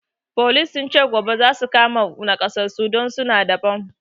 Folis sun ce gobe zasu kama wassu nakasassu don suna da bam